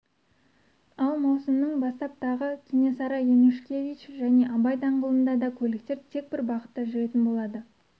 ал маусымның бастап тағы кенесары янушкевич және абай даңғылында да көліктер тек бір бағытта жүретін болады